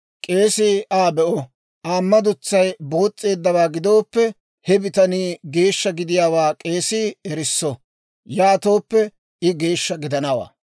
K'eesii Aa be'o; Aa madutsay boos's'eeddawaa gidooppe, he bitanii geeshsha gidiyaawaa k'eesii erisso; yaatooppe I geeshsha gidanawaa.